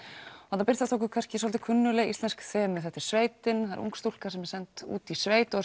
þarna birtast okkur kannski svolítið kunnugleg íslensk þemu sveitin ung stúlka sem er send út í sveit og